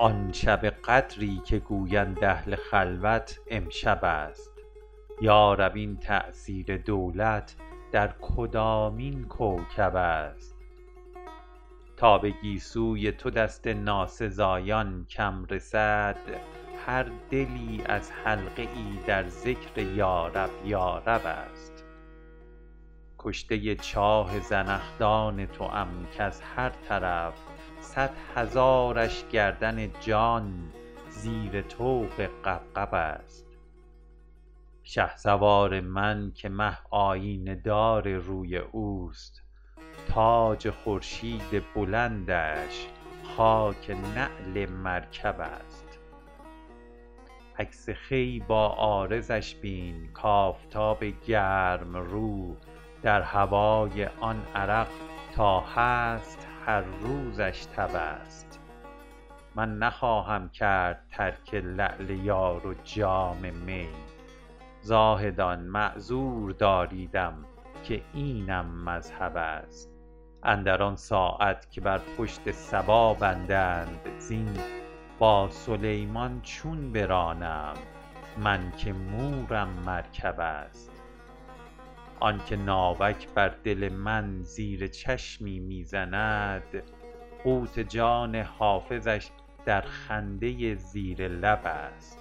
آن شب قدری که گویند اهل خلوت امشب است یا رب این تأثیر دولت در کدامین کوکب است تا به گیسوی تو دست ناسزایان کم رسد هر دلی از حلقه ای در ذکر یارب یارب است کشته چاه زنخدان توام کز هر طرف صد هزارش گردن جان زیر طوق غبغب است شهسوار من که مه آیینه دار روی اوست تاج خورشید بلندش خاک نعل مرکب است عکس خوی بر عارضش بین کآفتاب گرم رو در هوای آن عرق تا هست هر روزش تب است من نخواهم کرد ترک لعل یار و جام می زاهدان معذور داریدم که اینم مذهب است اندر آن ساعت که بر پشت صبا بندند زین با سلیمان چون برانم من که مورم مرکب است آن که ناوک بر دل من زیر چشمی می زند قوت جان حافظش در خنده زیر لب است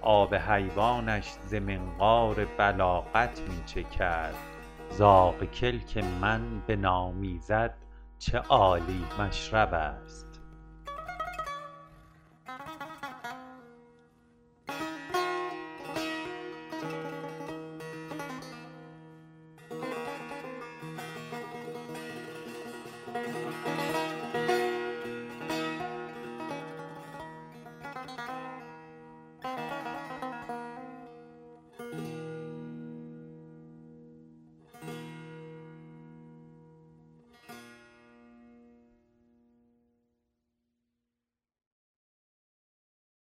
آب حیوانش ز منقار بلاغت می چکد زاغ کلک من بنامیزد چه عالی مشرب است